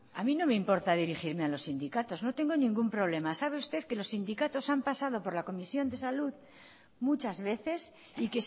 a mí no me importa dirigirme a los sindicatos no tengo ningún problema sabe usted que los sindicatos han pasado por la comisión de salud muchas veces y